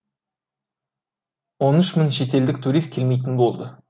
он үш мың шетелдік турист келмейтін болды